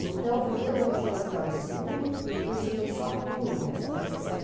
Então, primeiro ano ginasial e segundo, eu estudei só com meninas, até sessenta e